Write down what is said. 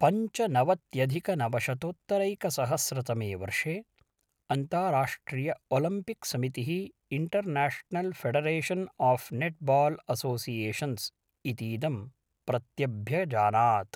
पञ्चनवत्यधिकनवशतोत्तरैकसहस्रतमे वर्षे अन्ताराष्ट्रियओलिम्पिक्समितिः international federation of netball associations इतीदं प्रत्यभ्यजानात्।